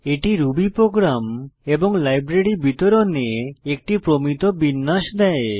এটি Ruby program এবং library বিতরণে একটি প্রমিত বিন্যাস দেয়